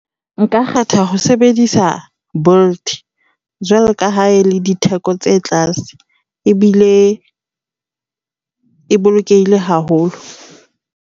Nka kgetha ho sebedisa Bolt jwalo ka ha e le ditheko tse tlase ebile e bolokehile haholo.